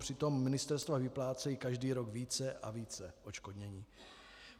Přitom ministerstva vyplácejí každý rok více a více odškodnění.